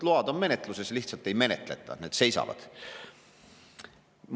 Load on menetluses, neid lihtsalt ei menetleta, need seisavad.